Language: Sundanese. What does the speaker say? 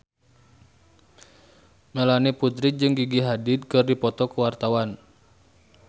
Melanie Putri jeung Gigi Hadid keur dipoto ku wartawan